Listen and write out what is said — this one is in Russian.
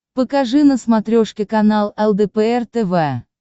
покажи на смотрешке канал лдпр тв